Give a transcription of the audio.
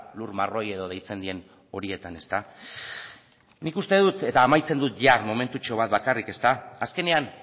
lur marroi edo deitzen diren horietan nik uste dut eta amaitzen dut momentutxo bat bakarrik azkenean